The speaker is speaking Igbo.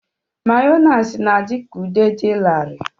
Mayoniisi na-adị ka ude dị larịị.